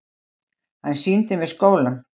Hann sýndi mér skólann.